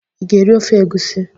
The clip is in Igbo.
Ị ga-eri ofe egusi?